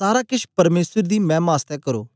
सारा केछ परमेसर दी मैमा आसतै करो